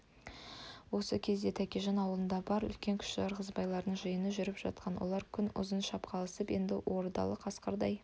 осы кезде тәкежан аулында бар үлкен-кіші ырғызбайлардың жиыны жүріп жатқан олар күн ұзын шапқыласып енді ордалы қасқырдай